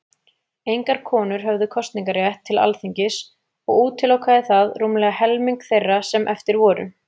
Engar konur höfðu kosningarétt til Alþingis, og útilokaði það rúmlega helming þeirra sem eftir voru.